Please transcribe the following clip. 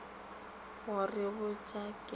go re botša ge go